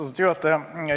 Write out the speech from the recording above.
Austatud juhataja!